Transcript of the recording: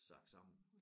Sank sammen